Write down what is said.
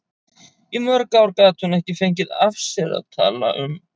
Í mörg ár gat hún ekki fengið af sér að tala um